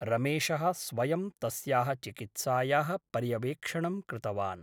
रमेशः स्वयं तस्याः चिकित्सायाः पर्यवेक्षणं कृतवान् ।